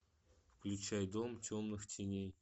включай дом темных теней